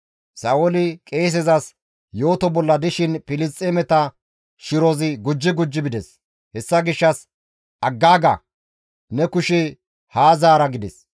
Sa7ooli qeesezas yooto bolla dishin Filisxeemeta shirozi gujji gujji bides; hessa gishshas, «Aggaaga; ne kushe haa zaara» gides.